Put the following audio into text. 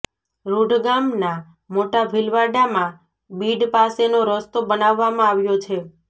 રૃંઢ ગામના મોટા ભીલવાડામાં બીડ પાસેનો રસ્તો બનાવવામાં આવ્યો છે